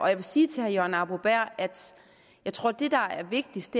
jeg vil sige til herre jørgen arbo bæhr at jeg tror at det der er vigtigst